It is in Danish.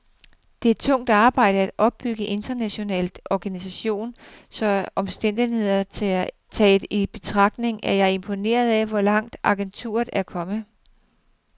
Det er tungt arbejde at opbygge en international organisation, så omstændighederne taget i betragtning er jeg imponeret af, hvor langt agenturet er kommet.